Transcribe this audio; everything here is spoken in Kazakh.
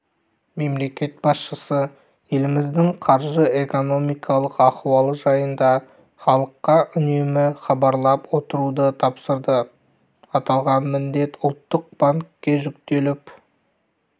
мемлекет басшысы еліміздің қаржы-экономикалық аіуалы жайында іалыққа үнемі іабарлап отыруды тапсырды аталған міндет ұлттық банкке жүктеліп